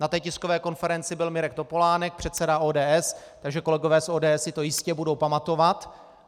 Na té tiskové konferenci byl Mirek Topolánek, předseda ODS, takže kolegové z ODS si to jistě budou pamatovat.